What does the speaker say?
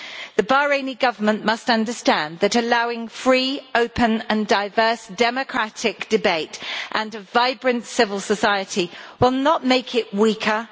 The Bahraini Government must understand that allowing free, open and diverse democratic debate and a vibrant civil society will not make it weaker.